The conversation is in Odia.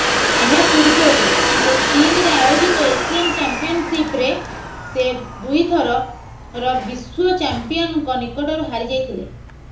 ଏହା ପୂର୍ବରୁ ସେ ଚୀନରେ ଆୟୋଜିତ ଏସିଆନ୍ ଚାମ୍ପିୟନଶିପରେ ସେ ଦୁଇଥରର ବିଶ୍ୱ ଚାମ୍ପିୟନଙ୍କ ନିକଟରୁ ହାରିଯାଇଥିଲେ